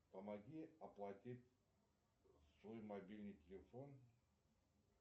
помоги оплатить свой мобильный телефон